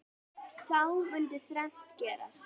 Þá mundi þrennt gerast